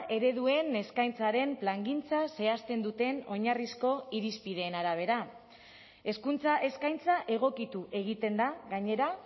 ereduen eskaintzaren plangintza zehazten duten oinarrizko irizpideen arabera hezkuntza eskaintza egokitu egiten da gainera